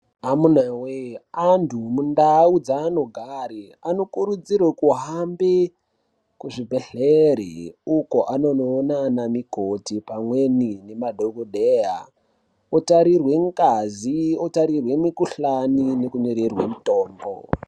Amunawee, antu mundau dzaanogare, anokurudzirwe kuhambe kuzvibhedhlere, uko anonoona anamikoti pamweni nemadhokodheya, otarirwe ngazi, otarirwe mikhuhlani, nekunyorerwe mitombo.